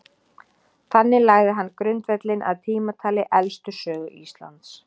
Þannig lagði hann grundvöllinn að tímatali elstu sögu Íslands.